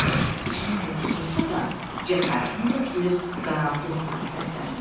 İçinə qorxu dolsa da, cəsarətini toplayıb qaraltıya sarı səsləndi: